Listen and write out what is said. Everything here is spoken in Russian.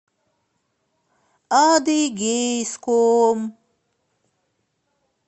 адыгейском